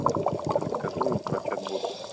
расскажи мне про чат ботов